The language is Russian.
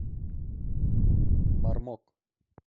бармок